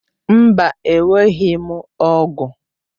Mba enweghị m ọ̀gu.